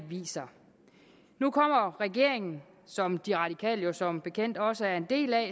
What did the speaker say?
viser nu kommer regeringen som de radikale jo som bekendt også er en del af